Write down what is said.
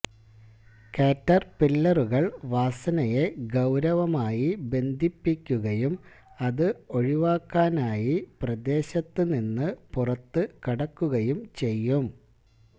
കാറ്റർപില്ലറുകൾ വാസനയെ ഗൌരവമായി ബന്ധിപ്പിക്കുകയും അത് ഒഴിവാക്കാനായി പ്രദേശത്തുനിന്ന് പുറത്തുകടക്കുകയും ചെയ്യും